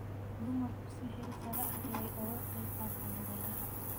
Dumarku si heersare ah ayay uga qayb qaataan beeraha.